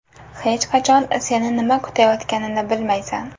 Hech qachon seni nima kutayotganini bilmaysan.